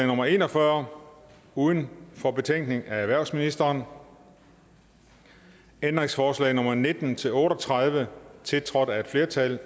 nummer en og fyrre uden for betækningen af erhvervsministeren om ændringsforslag nummer nitten til otte og tredive tiltrådt af et flertal